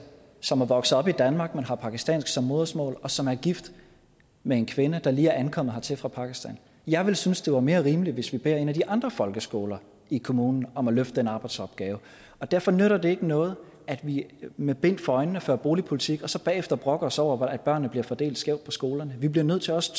som er vokset op i danmark men har pakistansk som modersmål og som er gift med en kvinde der lige er ankommet hertil fra pakistan jeg ville synes det var mere rimeligt hvis vi beder en af de andre folkeskoler i kommunen om at løfte den arbejdsopgave og derfor nytter det ikke noget at vi med bind for øjnene fører boligpolitik og så bagefter brokker os over at børnene bliver fordelt skævt på skolerne vi bliver nødt til også